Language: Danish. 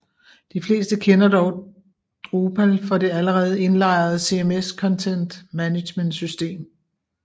De fleste kender dog Drupal for det allerede indlejrede CMS content management system